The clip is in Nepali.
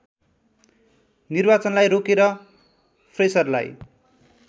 निर्वाचनलाई रोकेर फ्रेसरलाई